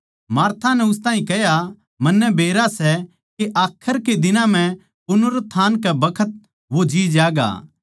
मार्था नै उस ताहीं कह्या मन्नै बेरा सै के आखर के दिन म्ह पुनरुत्थान के बखत वो जीं ज्यागा